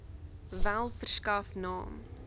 wel verskaf naam